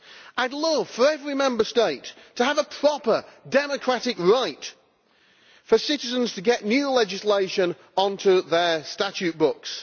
I would love for every Member State to have a proper democratic right for citizens to get new legislation onto their statute books.